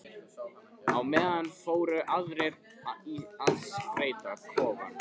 Á meðan fóru aðrir í að skreyta kofann.